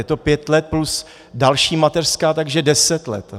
Je to pět let plus další mateřská, takže deset let.